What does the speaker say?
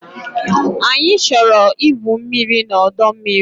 Anyị chọrọ igwu mmiri na ọdọ mmiri